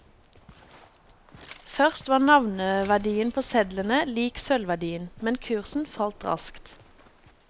Først var navneverdien på sedlene lik sølvverdien, men kursen falt raskt.